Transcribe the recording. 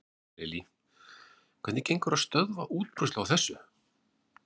Lillý: Hvernig gengur að stöðva útbreiðslu á þessu?